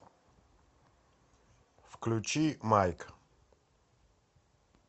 включи майк